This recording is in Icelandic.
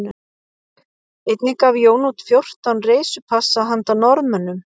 Einnig gaf Jón út fjórtán reisupassa handa Norðmönnum